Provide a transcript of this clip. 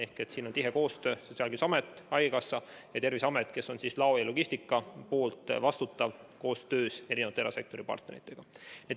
Siin teevad tihedat koostööd Sotsiaalkindlustusamet, haigekassa ja Terviseamet, kes vastutab lao- ja logistikapoole eest koostöös erasektori partneritega.